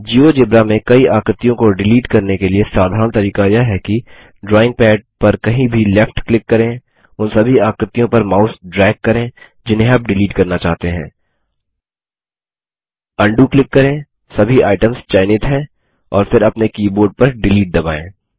GeoGebra में कई आकृतियों को डिलीट करने के लिए साधारण तरीका यह है कि ड्रॉइंग पैड पर कहीं भी लेफ्ट क्लिक करें उन सभी आकृतियों पर माउस ड्रेग करें जिन्हें आप डिलीट करना चाहते हैं उंडो क्लिक करें सभी आइटम्स चयनित हैं और फिर अपने कीबोर्ड पर डिलीट दबायें